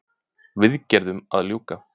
Viðgerðum að ljúka